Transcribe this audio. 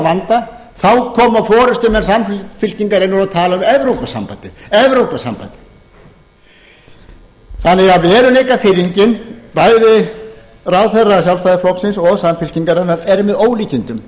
vanda þá koma forustumenn samfylkingarinnar og tala um evrópusambandið veruleikafirring bæði ráðherra sjálfstæðisflokksins og samfylkingarinnar er því með ólíkindum